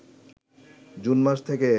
June মাস থেকে